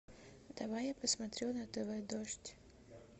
давай я посмотрю на тв дождь